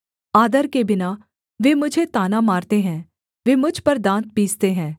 आदर के बिना वे मुझे ताना मारते है वे मुझ पर दाँत पीसते हैं